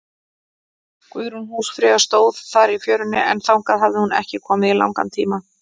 Guðrún húsfreyja stóð þar í fjörunni, en þangað hafði hún ekki komið í langan tíma.